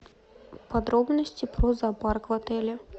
подробности про зоопарк в отеле